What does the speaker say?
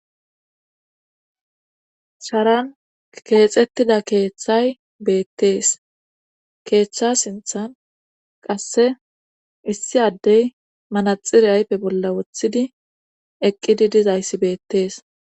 sharan keexettida keeththay beettees keeththa sinthan qasse issi addey manaxire ayfe bolla wothidi eqqidi dizayssi beettees